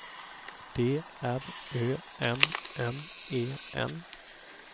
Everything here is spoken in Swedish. D R Ö M M E N